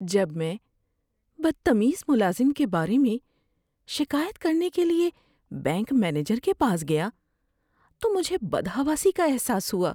جب میں بدتمیز ملازم کے بارے میں شکایت کرنے کے لیے بینک مینیجر کے پاس گیا تو مجھے بدحواسی کا احساس ہوا۔